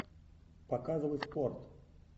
показывай спорт